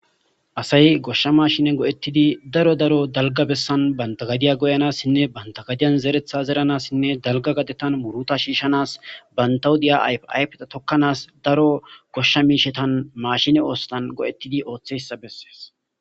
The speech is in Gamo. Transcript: Asay gooshsha maashine go'oettidii daro daro bantta gaddiya gooyanasinne bantta gaddiyan zereththa zeranasinne dalgga gaddettan muurutta shiishshanasinne bantta huuphiyas ayfa ayfetta tookanas daro gooshsha miishshatan maashinen go'oettidii ooththizayssa beeses